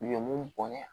U ye mun bɔn ye